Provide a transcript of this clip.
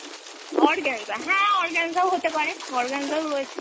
organza হ্যাঁ organza ও হতে পারে, organza ও রয়েছে